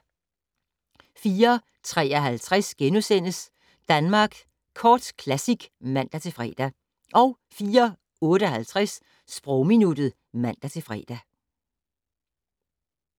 04:53: Danmark Kort Classic *(man-fre) 04:58: Sprogminuttet (man-fre)